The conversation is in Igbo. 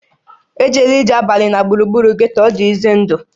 E jela ije abalị na gburugburu getto, ọ dị ize ndụ!